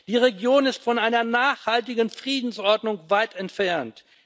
Die Region ist von einer nachhaltigen Friedensordnung weit entfernt.